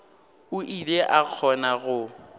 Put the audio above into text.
o ile a kgona go